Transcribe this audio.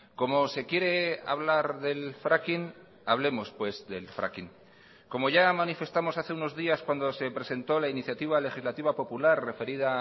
como se quiere hablar del fraking hablemos pues del fraking como ya manifestamos hace unos días cuando se presentó la iniciativa legislativa popular referida